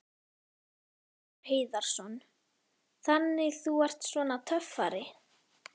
Magnús Hlynur Hreiðarsson: Þannig þú ert svona töffari?